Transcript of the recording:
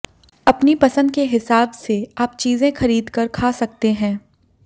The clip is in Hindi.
अपनी पसंद के हिसाब से आप चीजें खरीदकर खा सकते हैं